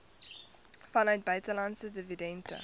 vanuit buitelandse dividende